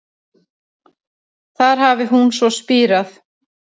Þar hafi hún svo spírað